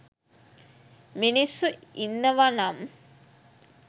මිනිස්සු ඉන්නව නම්